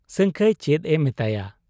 ᱥᱟᱹᱝᱠᱷᱟᱹᱭ ᱪᱮᱫ ᱮ ᱢᱮᱛᱟᱭᱟ ᱾